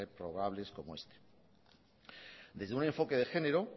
reprobables como este desde un enfoque de género